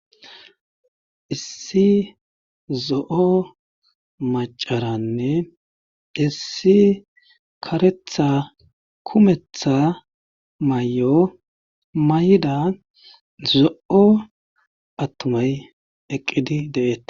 issi zo7o macaranne issi karetha kumetha may7o mayda zo7o attumay eqqidi de7eeta